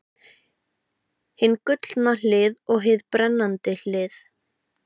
Hið gullna hlið og hið brennandi hlið.